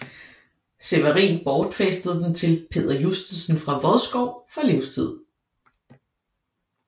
Sewerin bortfæstede den til Peder Justesen fra Vodskov for livstid